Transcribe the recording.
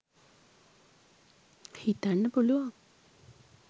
හිතන්න පුළුවන්.